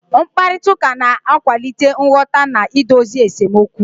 Mkparịta ụka na-akwalite nghọta na idozi esemokwu.